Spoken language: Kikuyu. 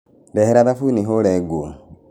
Ndehera thabuni hũũre nguo.